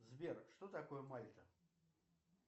сбер что такое мальта